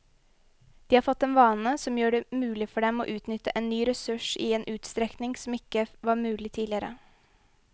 De har fått en vane som gjør det mulig for dem å utnytte en ny ressurs i en utstrekning som ikke var mulig tidligere.